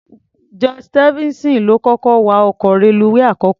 George Stephenson ló kọ́kọ́ wa ọkọ̀ reluwé àkọ́kọ́.